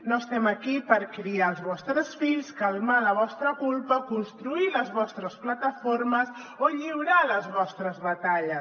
no estem aquí per criar els vostres fills calmar la vostra culpa construir les vostres plataformes o lliurar les vostres batalles